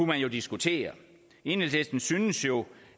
man jo diskutere enhedslisten synes jo